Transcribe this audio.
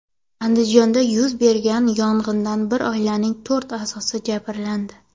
Andijonda yuz bergan yong‘inda bir oilaning to‘rt a’zosi jabrlandi.